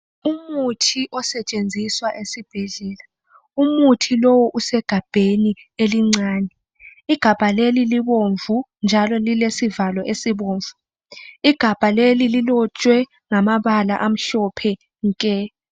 Umuthi osetshenziswa esibhedlela. Umuthi lo usegabheni elincane. Igabha leli libomvu njalo lilesivalo esibomvu. Igabha leli lilotshwe ngamabala amhlophe nke .